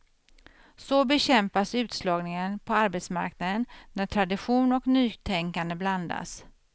Så bekämpas utslagningen på arbetsmarknaden när tradition och nytänkande blandas.